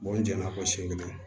n jɛn'a fɔ siran